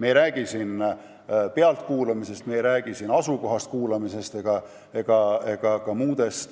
Jutt ei ole pealtkuulamisest, jutt ei ole asukohas kuulamisest ega ka muudest